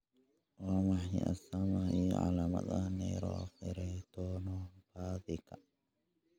Waa maxay astamaha iyo calaamadaha Neuroferritinopathyka?